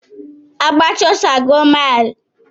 Agbachaa ọsọ a gụọ milu.